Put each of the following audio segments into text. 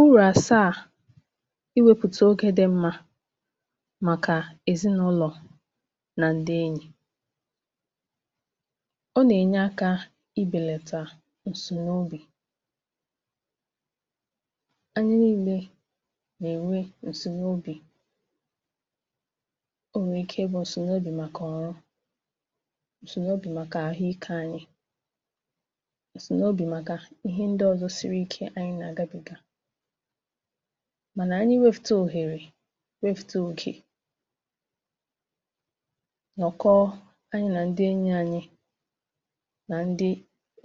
E nwere urù àsàà nke ịnọkọ oge dị mma na ndị ezinụlọ na ndị enyi anyị Urù nke mbụ̀ bụ̀ nà ọ na-enyere aka ibelata ịdị̀ n’otu maọ̀bụ̀ ịnọ naanị gị. Onye ọ̀bụ̀la na-enwe mgbe ọ̀ na-echeghị onye ọ̀ bụla nso um, ma mgbe anyị nà-anọkọ na ndị anyị hụrụ n’anya, ọ na-enyere aka wepụ mmetụta nke ịnọ naanị gị. Urù nke abụọ̀ bụ̀ nà ọ na-eme ka àhụ́ ìké uche dị mma. Ịnọkọ oge na ndị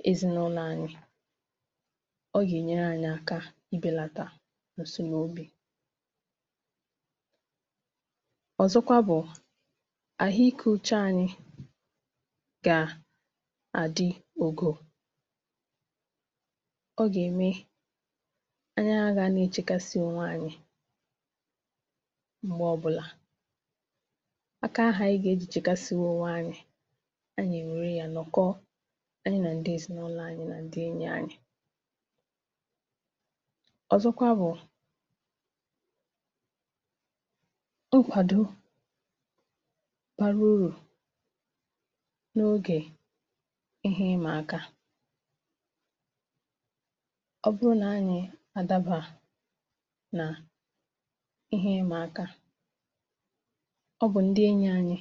ezinụlọ na ndị enyi na-enyere anyị aka izu ike, kesaa echiche anyị, ma belata nchekasị maọ̀bụ̀ ụjọ. Urù nke atọ̀ bụ̀ nà ọ na-eme ka njikọ ezinụlọ sie ike um. Mgbe anyị nà-anọkọ, nà-akparịta ụ̀ka, nà-achị ọchị, ma nà-èrí nri ọnụ, ọ na-enyere anyị ka anyị mụta ịghọta ibe anyị nke ọma ma na-eme ka ịhụnanya n’etiti ezinụlọ sie ike. Urù nke anọ̀ bụ̀ nà ọ na-enye nkwàdọ mmụọ̀ um. Mgbe nsogbu maọ̀bụ̀ ihe isi ike bịara, ndị ezinụlọ na ndị enyi anyị nà-abàra anyị uru, nà-akwàdo anyị, ma nà-enyere anyị ka anyị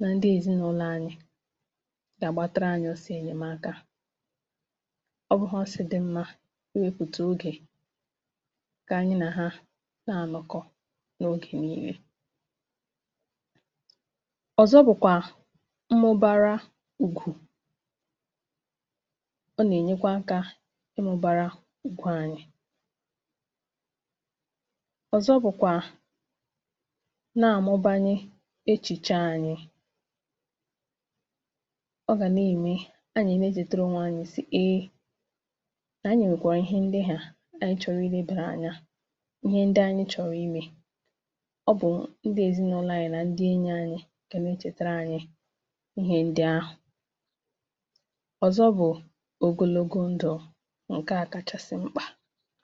ghara ịda mbà. Urù nke ise bụ̀ nà ọ na-eme ka mmadụ nwee àkàrà ùgwù na ntụkwàsị obi n’onwe ya. Ịnọ n’etiti ndị nà-akwàdo gị na ndị nà-ahụ́ gị n’anya um na-eme ka ị̀ nwee mmetụta nà e ji gị arụ ọrụ, ma na-amasị gị. Urù nke isii bụ̀ nà ọ na-eme ka obi dị mmadụ ụtọ. Ịnọkọ ọnụ na ndị mmadụ na-eweta ọchị, ọṅụ, na ume ọma n’ime ndụ anyị um. N’ikpeazụ, urù nke asaa, nke bụ́ nke kacha mkpà, bụ̀ nà ọ na-eme ka ndụ̀ dịrị̀ ogologo. Mgbe anyị nwere mmekọrịta ọma, ma nà-anọ nso na ndị nà-eche banyere anyị um, ọ na-enyere anyị aka ibi ndụ̀ dị ogologo, jupụtara n’ọṅụ na udo.